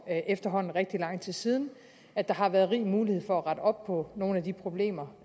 efterhånden rigtig lang tid siden og at der har været rig mulighed for at rette op på nogle af de problemer